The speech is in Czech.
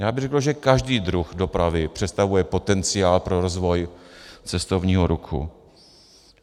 Já bych řekl, že každý druh dopravy představuje potenciál pro rozvoj cestovního ruchu.